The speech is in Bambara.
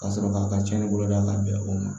Ka sɔrɔ k'a ka tiɲɛni bolo da ka bɛn o ma